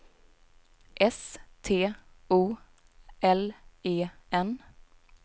S T O L E N